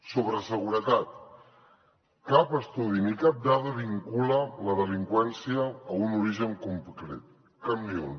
sobre seguretat cap estudi ni cap dada vincula la delinqüència a un origen concret cap ni un